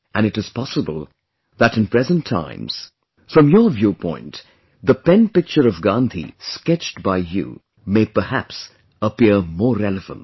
And it is possible that in present times, from your viewpoint, the penpicture of Gandhi sketched by you, may perhaps appear more relevant